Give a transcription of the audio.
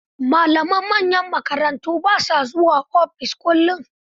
Malaman manyan makarantu ba sa zuwa ofis kullun.